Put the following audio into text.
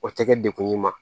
O tɛ kɛ degun ye ma